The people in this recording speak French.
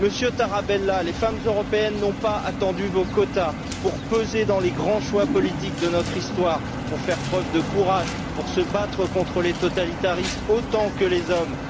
Monsieur Tarabella, les femmes européennes n'ont pas attendu vos quotas pour peser dans les grands choix politiques de notre histoire, pour faire preuve de courage, pour se battre contre les totalitarismes autant que les hommes.